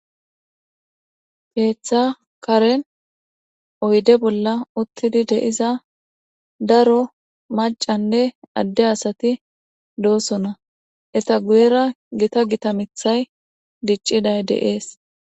Keeththa karen oyde bolla uttidi deiza daro macanne adde asati doosona eta guyera gita gita mithay dicciday deees.